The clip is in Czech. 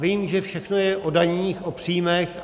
Vím, že všechno je o daních, o příjmech.